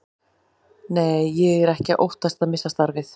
Nei, ég er ekki að óttast að missa starfið.